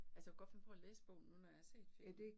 Altså jeg kunne godt finde på at læse bogen nu, når jeg har set filmen